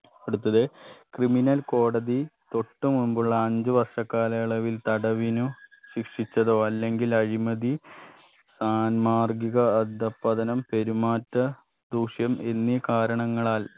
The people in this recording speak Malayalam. അടുത്തത് criminal കോടതി തൊട്ടു മുമ്പുള്ള അഞ്ചു വർഷ കാലയളവിൽ തടവിനു ശിക്ഷിച്ചതോ അല്ലെങ്കിൽ അഴിമതി സാന്മാർഗിക അധഃപതനം പെരുമാറ്റ ദൂഷ്യം എന്നീ കാരണങ്ങളാൽ